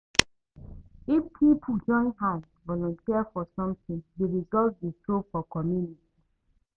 If pipo join hand volunteer for something di result dey show for community